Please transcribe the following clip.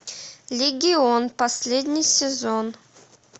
легион последний сезон